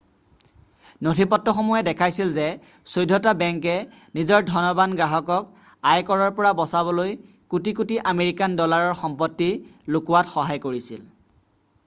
নথিপত্ৰসমূহে দেখাইছিল যে চৈধটা বেংকে নিজৰ ধনবান গ্ৰাহকক আয়কৰৰ পৰা বচাবলৈ কোটি কোটি আমেৰিকান ডলাৰৰ সম্পত্তি লুকোৱাত সহায় কৰিছিল